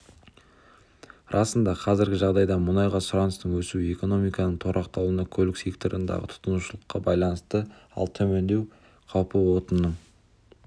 расында қазіргі жағдайда мұнайға сұраныстың өсуі экономиканың тұрақталуына көлік секторындағы тұтынушылыққа байланысты ал төмендеу қаупі отынның